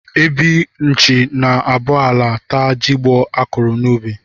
Ebi nchi na-abọ ala, taa jigbọ a kụrụ n'ubi